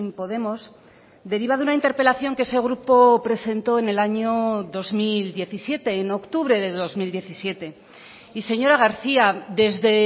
podemos deriva de una interpelación que ese grupo presentó en el año dos mil diecisiete en octubre de dos mil diecisiete y señora garcía desde